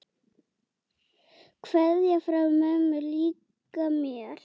Kveðja frá mömmu líka mér.